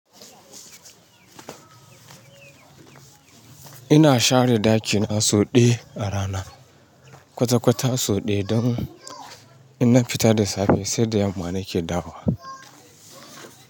Ina share ɗakina so ɗaya a rana, kwata-kwata so ɗaya don in na fita da safe sai da yamma nake dawowa.